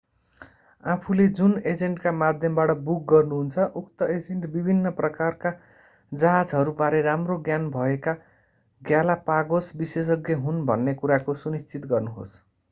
आफूले जुन एजेन्टका माध्यमबाट बुक गर्नुहुन्छ उक्त एजेन्ट विभिन्न प्रकारका जहाजहरूबारे राम्रो ज्ञान भएका ग्यालापागोस विशेषज्ञ हुन् भन्ने कुराको सुनिश्चित गर्नुहोस्